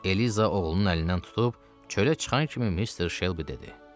Eliza oğlunun əlindən tutub çölə çıxan kimi Mister Shelby dedi: